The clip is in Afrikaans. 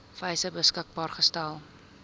wyse beskikbaar gestel